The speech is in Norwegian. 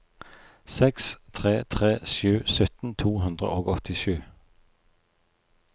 seks tre tre sju sytten to hundre og åttisju